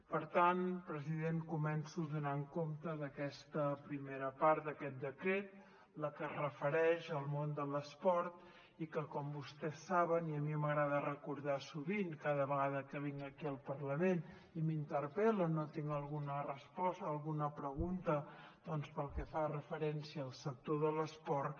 per tant president començo donant compte d’aquesta primera part d’aquest decret la que es refereix al món de l’esport que com vostès saben i a mi m’agrada recordar sovint cada vegada que vinc aquí al parlament i m’interpel·len o tinc alguna resposta a alguna pregunta doncs pel que fa referència al sector de l’esport